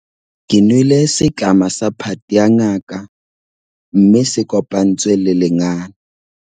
Ke nwele setlama sa phate ya ngaka mme se kopantswe le lengana.